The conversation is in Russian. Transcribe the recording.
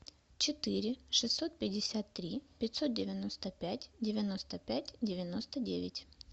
четыре шестьсот пятьдесят три пятьсот девяносто пять девяносто пять девяносто девять